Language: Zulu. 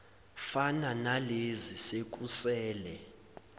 fana nalezi sekusele